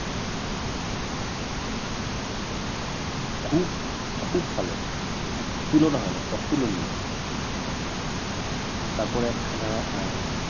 খুব খুব ভাল তুলনা হয় না অতুলনীয় তারপরে একখানা আহ